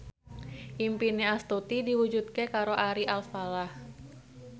impine Astuti diwujudke karo Ari Alfalah